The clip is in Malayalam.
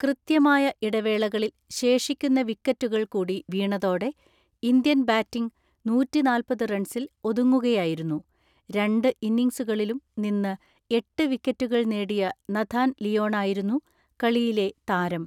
കൃത്യമായ ഇടവേളകളിൽ ശേഷിക്കുന്ന വിക്കറ്റുകൾ കൂടി വീണതോടെ ഇന്ത്യൻ ബാറ്റിംഗ് നൂറ്റിനാൽപത് റൺസിൽ ഒതുങ്ങുകയായിരുന്നു. രണ്ട് ഇന്നിംഗ്സുകളിലും നിന്ന് എട്ട് വിക്കറ്റുകൾ നേടിയ നഥാൻ ലിയോണായിരുന്നു കളിയിലെ താരം.